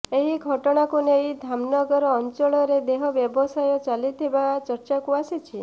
ଏହି ଘଟଣାକୁ ନେଇ ଧାମନଗର ଅଂଚଳରେ ଦେହ ବ୍ୟବସାୟ ଚାଲିଥିବା ଚର୍ଚ୍ଚାକୁ ଆସିଛି